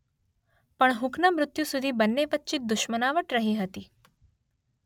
પણ હુકના મૃત્યુ સુધી બંને વચ્ચે દુશ્મનાવટ રહી હતી.